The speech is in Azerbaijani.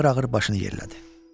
Ağır-ağır başını yerlədi.